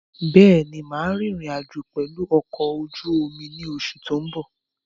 Bẹ́ẹ̀ni, máa rìn ìrìn-àjò pẹ̀lu ọkọ̀ ojú omi ni oṣù tó ń bọ̀.